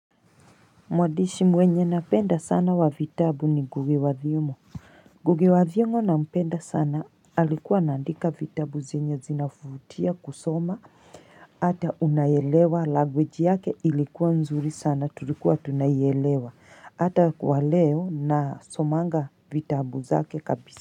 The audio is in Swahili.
Mwandishi mwenye napenda sana wa vitabu ni ngugi wathiongo nGugi wathiongo na mpenda sana alikuwa anaandika vitabu zenye zinavutia kusoma Hata unaelewa laguage yake ilikuwa mzuri sana tulikuwa tunaielewa hata kwa leo nasomanga vitabu zake kabisa.